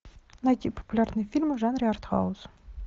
найти популярные фильмы в жанре артхаус